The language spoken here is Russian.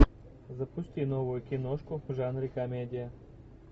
запусти новую киношку в жанре комедия